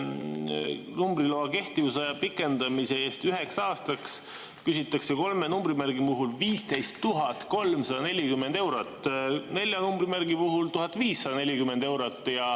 Numbriloa kehtivusaja pikendamise eest üheks aastaks küsitakse kolme numbrimärgi puhul 15 340 eurot, nelja numbrimärgi puhul 1540 eurot.